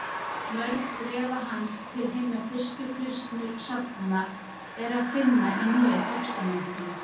Mörg bréfa hans til hinna fyrstu kristnu safnaða er að finna í Nýja testamentinu.